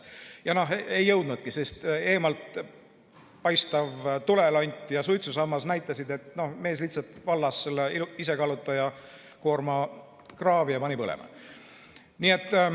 Ja ei jõudnudki, sest eemalt paistvad tulelont ja suitsusammas näitasid, et mees lihtsalt valas isekallutaja koorma kraavi ja pani põlema.